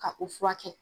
Ka u furakɛ